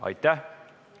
Aitäh!